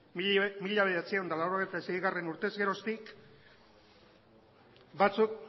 mila bederatziehun eta laurogeita seigarrena urtez geroztik batzuk